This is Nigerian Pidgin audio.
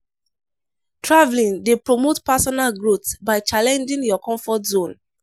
Travelling dey promote personal growth by challenging your comfort zone.